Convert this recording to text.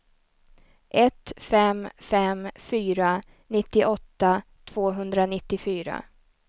ett fem fem fyra nittioåtta tvåhundranittiofyra